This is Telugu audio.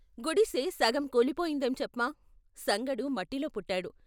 గుడిసె సగం కూలిపోయిందేం చెప్మా ! సంగడు మట్టిలో పుట్టాడు.